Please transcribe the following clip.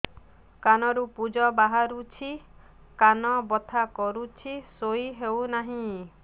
କାନ ରୁ ପୂଜ ବାହାରୁଛି କାନ ବଥା କରୁଛି ଶୋଇ ହେଉନାହିଁ